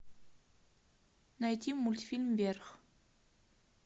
найти мультфильм вверх